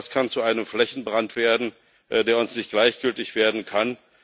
Das kann zu einem Flächenbrand werden, der uns nicht gleichgültig sein kann.